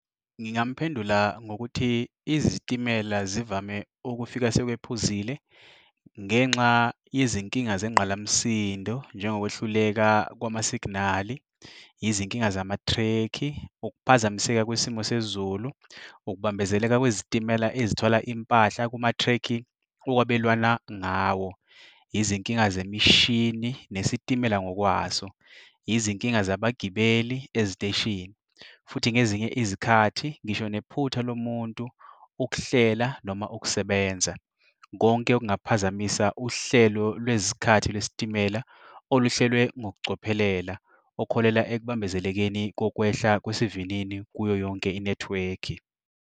Ngingamphendula ngokuthi izitimela zivame ukufika sekwephuzile ngenxa yezinkinga zengqalamsindo njengokwehluleka kwama-signal-i, yizinkinga zamathrekhi, ukuphazamiseka kwisimo sezulu, ukubambezeleka kwezitimela ezithwala impahla kumathrekhi ukwabelwana ngawo, izinkinga zemishini nesitimela ngokwaso, izinkinga zabagibeli eziteshini. Futhi ngezinye izikhathi, ngisho nephutha lomuntu ukuhlela noma ukusebenza. Konke okungaphazamisa uhlelo lwezikhathi lwesitimela oluhlelwe ngokucophelela okuholela ekubambezelekeni kokwehla kwesivinini kuyo yonke inethiwekhi.